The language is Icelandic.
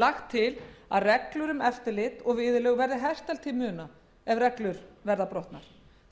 lagt til að reglur um eftirlit og viðurlög verði hertar til muna séu reglur brotnar